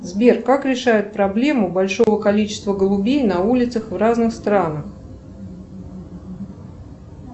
сбер как решают проблему большого количества голубей на улицах в разных странах